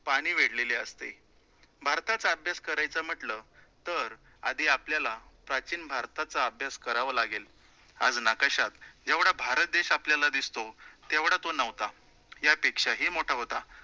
पाणी वेढलेले असते. भारताचा अभ्यास करायचा म्हटलं, तर आधी आपल्याला प्राचीन भारताचा अभ्यास करावा लागेल. आज नाकाशात जेवढा भारत देश आपल्याला दिसतो, तेवढा तो नव्हता, यापेक्षाही मोठा होता.